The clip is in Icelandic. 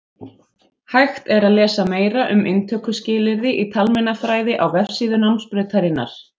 Hægt er að lesa meira um inntökuskilyrði í talmeinafræði á vefsíðu námsbrautarinnar.